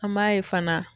An b'a ye fana